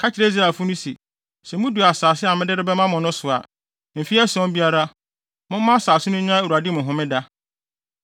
“Ka kyerɛ Israelfo no se, ‘Sɛ mudu asase a mede rebɛma mo no so a, mfe ason biara, momma asase no nya Awurade mu homeda.